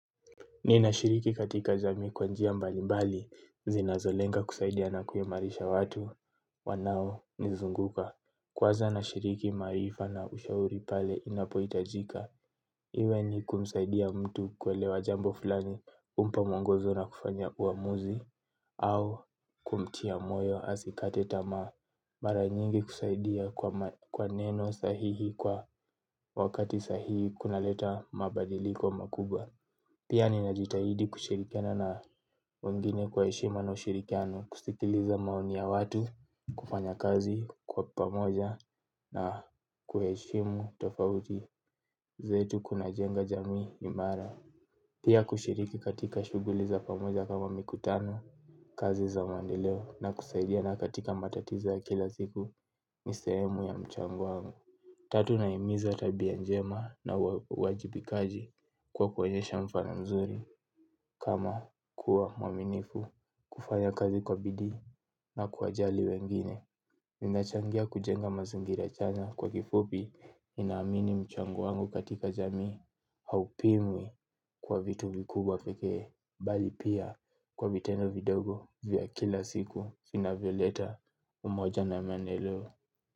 Nina shiriki katika jamii kwa njia mbalimbali, zinazo lenga kusaidia na kuimarisha watu, wanao nizunguka. Kwanza nashiriki maarifa na ushauri pale inapohitajika. Iwe ni kumsaidia mtu kuelewa jambo fulani, kumpa mwongozo na kufanya uamuzi, au kumtia moyo asikate tamaa. Mara nyingi kusaidia kwa neno sahihi kwa wakati sahihi kuna leta mabadiliko makubwa. Pia ninajitahidi kushirikiana na wengine kwa heshima na ushirikiano kusikiliza maoni ya watu kufanya kazi kwa pamoja na kuheshimu tofauti zetu kuna jenga jamii imara. Pia kushiriki katika shughuli za pamoja kama mikutano kazi za maendeleo na kusaidiana katika matatizo ya kila siku ni sehemu ya mchango wangu. Tatu nahimiza tabia njema na uajibikaji kwa kuonyesha mfano mzuri kama kuwa mwaminifu kufanya kazi kwa bidi na kuwa jali wengine. Ninachangia kujenga mazingira chanya kwa vifupi nina amini mchango wangu katika jamii haupimwi kwa vitu vikubwa pekee bali pia kwa vitendo vidogo vya kila siku vinavyo leta umoja na mendeleo.